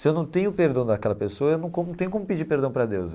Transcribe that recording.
Se eu não tenho perdão daquela pessoa, eu não como tenho como pedir perdão para Deus.